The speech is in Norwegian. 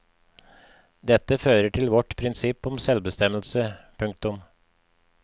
Dette fører til vårt prinsipp om selvbestemmelse. punktum